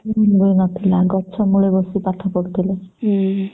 school ବି ନଥିଲା ସେମାନଙ୍କ ପାଖରେ ଗଛ ମୂଳେ ବସିକି ପାଠ ପଢୁଥିଲେ